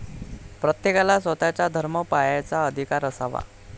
प्रत्येकाला स्वतःचा धर्म पाळायचा अधिकार असावा.